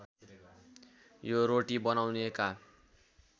यो रोटी बनाउनेका